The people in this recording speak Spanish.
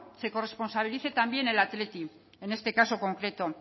se corresponsabilice también el athletic en este caso concreto